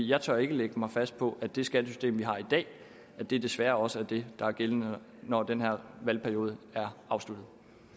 jeg tør ikke lægge mig fast på at det skattesystem vi har i dag desværre ikke også er det der er gældende når den her valgperiode er afsluttet